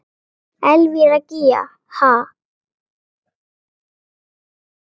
Elvíra Gýgja: Ha?